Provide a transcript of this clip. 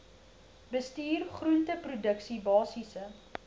bestuur groenteproduksie basiese